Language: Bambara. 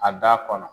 A da kɔnɔ